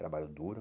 Trabalho duro.